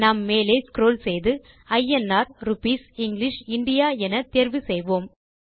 நாம் மேலே ஸ்க்ரோல் செய்து ஐஎன்ஆர் ரூப்பீஸ் இங்கிலிஷ் இந்தியா என தேர்வு செய்வோம்